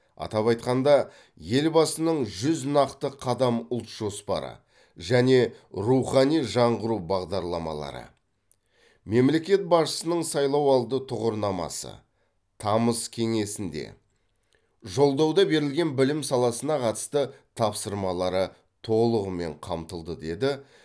атап айтқанда елбасының жүз нақты қадам ұлт жоспары және рухани жаңғыру бағдарламалары мемлекет басшысының сайлауалды тұғырнамасы тамыз кеңесінде жолдауда берген білім саласына қатысты тапсырмалары толығымен қамтылды деді